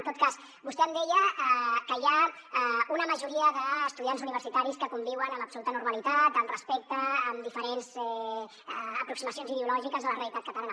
en tot cas vostè em deia que hi ha una majoria d’estudiants universitaris que conviuen amb absoluta normalitat amb respecte amb diferents aproximacions ideològiques a la realitat catalana